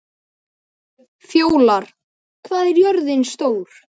Fjólar, hvað er jörðin stór?